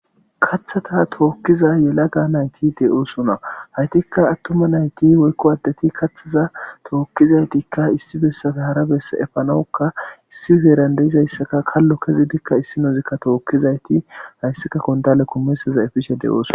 Kathata tookkiza yela gaa nayti de'oosona haytikka attuma nayti woykko aaddeti kathaza tookkizaytikka issi bessafe hara besse epanowukka issi heerandeizayssaka kallo kezidikka issi nozikka tookkizayti hayssika kondale komesaza efishe de'oos